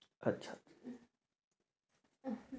আচ্ছা